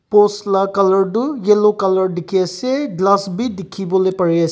post la colour tu yellow colour dikhiase glass bi dikhiwolae parease.